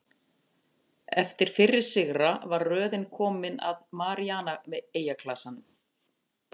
Eftir fyrri sigra var röðin komin að Maríana-eyjaklasanum.